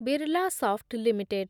Birlasoft limited